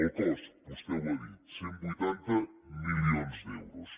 el cost vostè ho ha dit cent i vuitanta milions d’euros